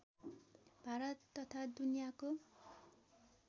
भारत तथा दुनियाँको